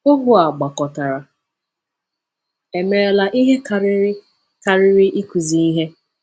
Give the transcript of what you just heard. Ohu a gbakọtara emeela ihe karịrị karịrị ịkụzi ihe.